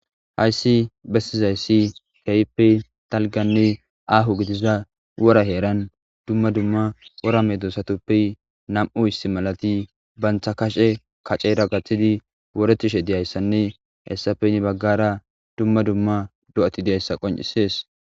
Hayssi bessizayssi keyppe talganne aahu gidiza wora heeran dumma dumma wora medosatuppe nam'u istimalati bantha kashe kaceera gaththidi woretishe diyayssanne hessapeni baggara dumma dumma do'ati diyayssa qoncisees.